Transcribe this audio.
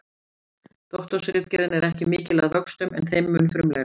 Doktorsritgerðin er ekki mikil að vöxtum en þeim mun frumlegri.